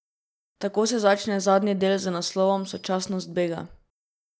Tako se začne zadnji del z naslovom Sočasnost bega.